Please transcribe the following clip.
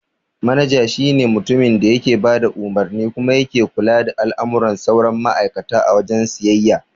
Manaja shi ne mutumin da yake bada umarni kuma yake kula da al'amuran sauran ma'aikata a wajen siyayya.